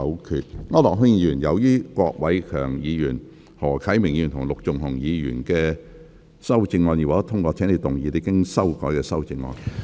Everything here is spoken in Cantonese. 區諾軒議員，由於郭偉强議員、何啟明議員及陸頌雄議員的修正案已獲得通過，請動議你經修改的修正案。